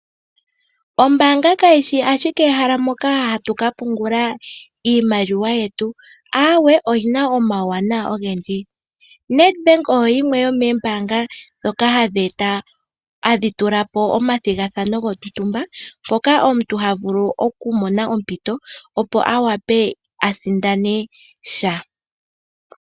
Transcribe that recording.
Ombaanga kayishi ashike ehala moka hatu kapungula iimaliwa yetu, aawe oyina omawuwanawa ogendji. Nedbank oyo yimwe yomoombanga dhoka hadhi tulapo omathigathano gontumba ngoka omuntu havule okumona ompito opo awape asindane sha.